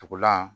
Tugulan